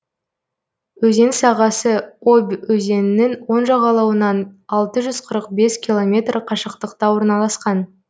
өзен сағасы обь өзенінің оң жағалауынан алты жүз қырық бес километр қашықтықта орналасқан